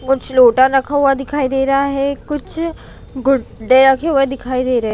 कुछ लोटा रखा हुआ दिखाई दे रहा है कुछ गुड्डे रखे हुए दिखाई दे रहे है।